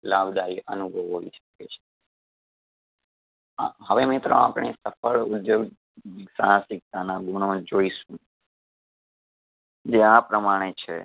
લાભદાયી અનુભવ હોઈ શકે છે . હા હવે મિત્રો આપણે સફળ ઉધ્યોગ સાહસિકતાના ગુણો જોઈશું જે આ પ્રમાણે છે